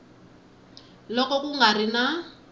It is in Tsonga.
loko ku nga ri na